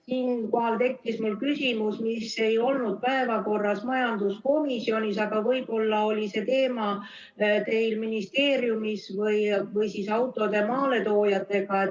Siinkohal mul tekkis küsimus, mis ei olnud päevakorras majanduskomisjonis, aga võib-olla oli see teema teil ministeeriumis või siis autode maaletoojatega.